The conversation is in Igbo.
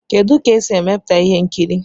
Kedụ etu e si emepụta ihe nkiri?